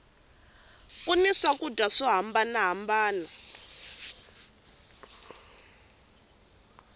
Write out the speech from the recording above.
ku ni swakudya swo hambana hambana